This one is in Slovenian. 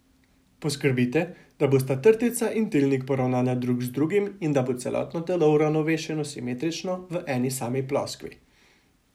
Poskrbite, da bosta trtica in tilnik poravnana drug z drugim in da bo celotno telo uravnovešeno simetrično v eni sami ploskvi.